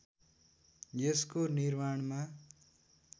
यसको निर्माणमा